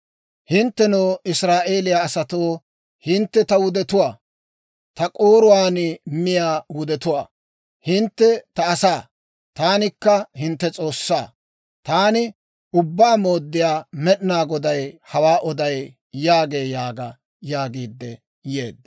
Hinttenoo, Israa'eeliyaa asatoo, hintte ta wudetuwaa; ta k'ooruwaan miyaa wudetuwaa; hintte ta asaa; taanikka hintte S'oossaa. Taani Ubbaa Mooddiyaa Med'inaa Goday hawaa oday» yaagee› yaaga» yaagiidde yeedda.